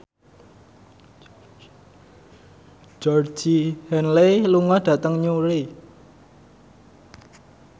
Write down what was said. Georgie Henley lunga dhateng Newry